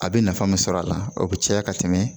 A bɛ nafa min sɔrɔ a la o bɛ caya ka tɛmɛ